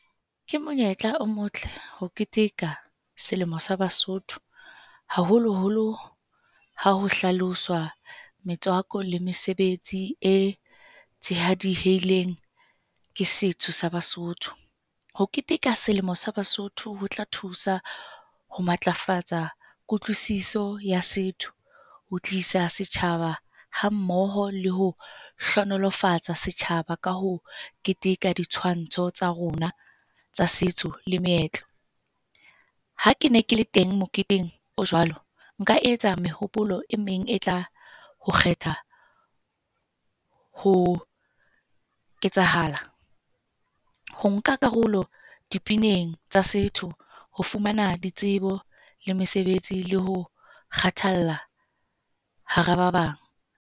Ke monyetla o motle ho keteka selemo sa Basotho haholo-holo ha ho hlaloswa metswako le mesebetsi e tshehadiheileng ke setso sa Basotho. Ho keteka selemo sa Basotho ho tla thusa ho matlafatsa kutlwisiso ya setho, ho tlisa setjhaba hammoho le ho hlohonolofatsa setjhaba ka ho keteka di tshwantsho tsa rona tsa setso le meetlo. Ha ke ne ke le teng moketeng o jwalo. Nka etsa mehopolo e meng e tla ho kgetha ho ketsahala. Ho nka karolo dipineng tsa setho, ho fumana ditsebo le mesebetsi le ho kgathalla hara ba bang.